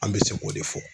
An bɛ se k'o de fɔ